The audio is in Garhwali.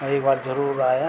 और एक बार जरूर आयां।